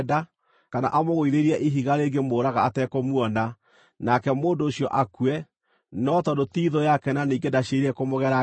kana amũgũithĩrie ihiga rĩngĩmũũraga atekũmuona, nake mũndũ ũcio akue, no tondũ ti thũ yake na ningĩ ndaciirĩire kũmũgera ngero-rĩ,